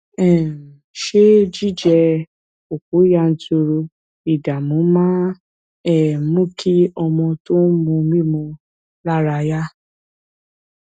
um ṣé jíjẹ òpò yanturu ìdààmú máa ń um mú kí ọmọ tó ń mu mímu lára yá